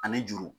Ani juru